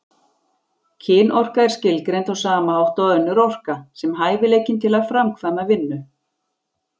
Kynorka er skilgreind á sama hátt og önnur orka, sem hæfileikinn til að framkvæma vinnu.